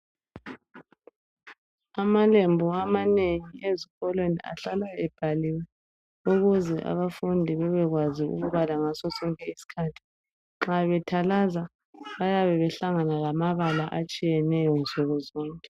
Amalembu amanengi ezikolweni ahlala ebhaliwe ukuze abafundi bebekwazi ukubala ngasosonke isikhathi nxa bethalaza bayabe behlangana lamabala atshiyeneyo nsuku zonke